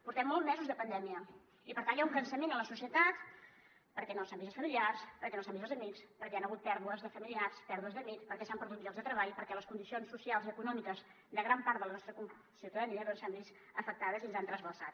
portem molts mesos de pandèmia i per tant hi ha un cansament a la societat perquè no s’han vist els familiars perquè no s’han vist els amics perquè hi han hagut pèrdues de familiars pèrdues d’amics perquè s’han perdut llocs de treball perquè les condicions socials i econòmiques de gran part de la nostra ciutadania s’han vist afectades i ens han trasbalsat